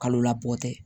Kalo la bɔ tɛ